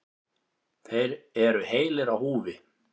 Þeir eru heilir á húfi.